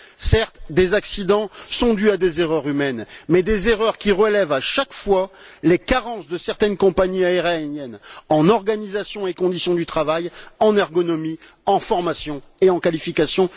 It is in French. Certes, des accidents sont dus à des erreurs humaines, mais des erreurs qui révèlent à chaque fois les carences de certaines compagnies aériennes en organisation et conditions du travail, en ergonomie, en formation et en qualifications.